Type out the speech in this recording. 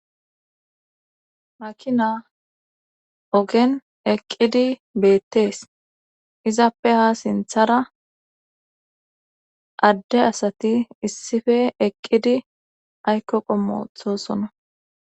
Makina ogen eqqidi beettees izappe ha sinthara adde asati issife eqqidi aykko qommoxosona.